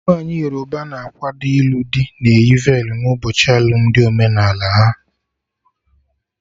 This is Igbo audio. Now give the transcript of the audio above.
Nwaanyi Yoruba na-akwado ilu dị na eyi velu n'ụbọchị alụmdi omenala ha